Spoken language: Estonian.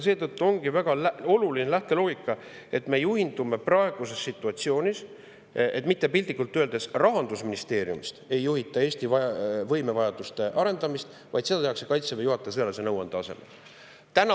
Seetõttu ongi väga oluline see lähteloogika, et me juhindume praeguses situatsioonis sellest, et piltlikult öeldes mitte Rahandusministeeriumist ei juhita Eesti võimevajaduste arendamist, vaid seda tehakse Kaitseväe juhataja sõjalise nõuande alusel.